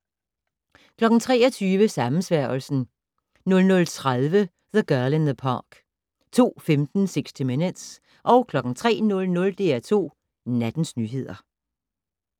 23:00: Sammensværgelsen 00:30: The Girl in the Park 02:15: 60 Minutes 03:00: DR2 Nattens nyheder